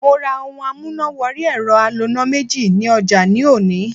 Mo ra ohun amúnà wọrí ẹ̀rọ aloná méjì ní ọjà ní òní.